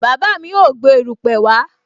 Bàbá mi ó gbé erupe wá